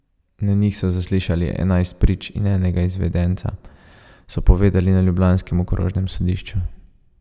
Na njih so zaslišali enajst prič in enega izvedenca, so povedali na ljubljanskem okrožnem sodišču.